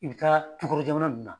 I bɛ taa tukɔnɔ jamana ninnu na